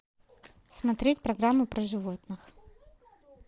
смотреть программу про животных